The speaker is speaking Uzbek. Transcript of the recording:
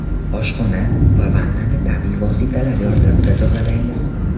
Oshxona va vannani tabiiy vositalar yordamida tozalaymiz.